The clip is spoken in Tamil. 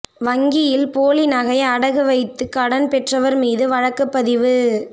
வங்கியில் போலி நகை அடகு வைத்துகடன் பெற்றவா் மீது வழக்குப் பதிவு